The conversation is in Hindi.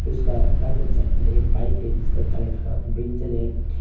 इसका राइट हैंड साइड मे एक बाइक है जिसका कलर थोड़ा ब्रिंजल है।